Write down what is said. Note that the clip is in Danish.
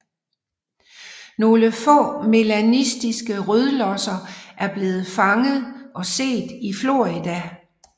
Nogle få melanistiske rødlosser er blevet set og fanget i Florida